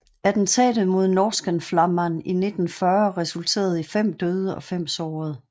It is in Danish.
Attentatet mod Norrskensflamman i 1940 resulterede i fem døde og fem sårede